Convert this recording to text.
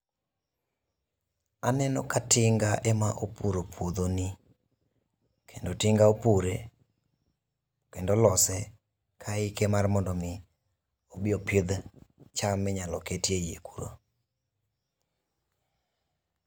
Aneno ka tinga ema opuro puodho ni. Kendo tinga opure, kendo olose ka hike mar mondo omi, obi opidh cham minyalo ket e iye kuro.